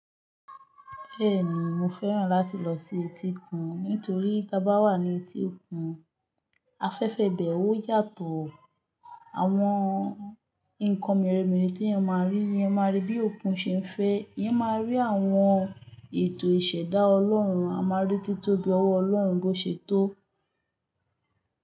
Bẹ́ẹ̀ni, mo fẹ́ràn láti lọ sí etí òkun, nítorí tá bá wà ní etí òkun, afẹ́fẹ́ ibẹ̀ ò yàtọ̀, àwọn nǹkan merẹ̀merẹ̀ tí eyan máa rí, eyan máa rí bí òkun ṣe ń fẹ́, eyan máa rí àwọn ètò ìṣẹ̀dá Ọlọ́run, a máa rí títóbi ọwọ́ Ọlọ́run bó ṣe tó.